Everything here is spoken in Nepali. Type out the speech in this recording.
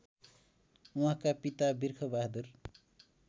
उहाँका पिता बिर्खबहादुर